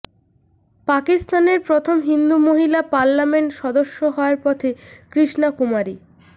পাকিস্তানের প্রথম হিন্দু মহিলা পার্লামেন্ট সদস্য হওয়ার পথে কৃষ্ণা কুমারী